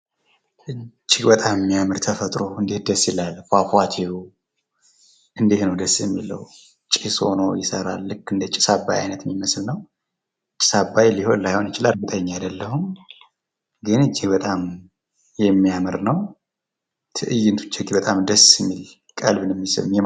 እጅግ በጣም የሚያምር ተፈጥሮ እንዴት ደስ ይላል ፏፏቴዉ ፤ እንደት ነው ደስ የሚለዉ ጭስ ሁኖ ይሰራል ልክ እንደ ጭስ አባይ አይነት ነው ጭስ አባይ ሊሆን ላይሆ ይችላል እርግጠኛ አይደለሁም ፤ እጅግ በጣም የሚያምር ነው ፤ ትእይንቱ እጅግ በጣም ደስ የሚል ቀልብን የሚስብ የሚያምር ነው።